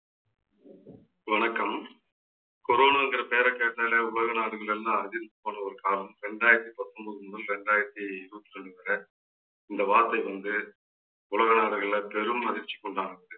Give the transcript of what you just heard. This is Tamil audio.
வணக்கம். corona ங்கற பேரை கேட்டாலே உலக நாடுகள் எல்லாம் அதிர்ந்து போன ஒரு காலம். ரெண்டாயிரத்தி பத்தொன்பது முதல் ரெண்டாயிரத்தி இருவத்தி ரெண்டு வரை இந்த வார்த்தை வந்து உலக நாடுகள்ல பெரும் அதிர்ச்சிக்குண்டானது